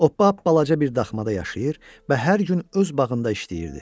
O balaca bir daxmada yaşayır və hər gün öz bağında işləyirdi.